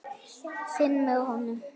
Finn með honum.